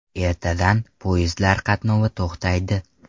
Ertadan poyezdlar qatnovi to‘xtaydi.